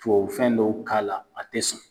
Tubabu fɛn dɔw k'a la a te sɔn